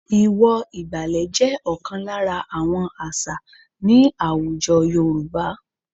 Ìwọ̀ ìgbàlẹ̀ jẹ́ ọ̀kan lára àwọn àṣà ní àwùjọ Yorùba h